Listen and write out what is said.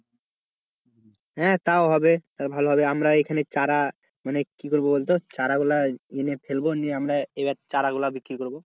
হ্যাঁ তাও হবে তালে ভালো হবে আমরা এইখানে চারা মানে কি করবো বলতো চারাগুলো এনে ফেলবো নিয়ে আমরা এবার চারাগুলো বিক্রি করবো,